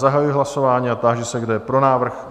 Zahajuji hlasování a táži se, kdo je pro návrh?